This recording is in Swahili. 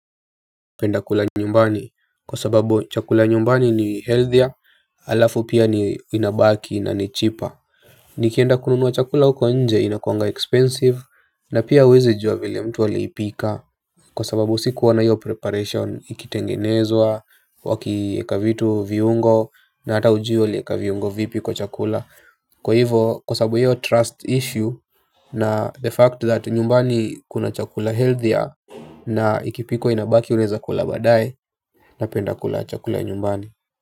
Penda kula nyumbani kwa sababu chakula nyumbani ni healthier alafu pia ni inabaki na ni cheaper. Nikienda kununua chakula huko nje inakuanga expensive na pia uwezi jua vile mtu aliipika. Kwa sababu sikuona hiyo preparation ikitengenezwa wakieka vitu viungo na hata ujui walieka viungo vipi kwa chakula. Kwa hivo kwa sababu hiyo trust issue na the fact that nyumbani kuna chakula healthier na ikipikwa inabaki uneza kula baadae napenda kula chakula nyumbani.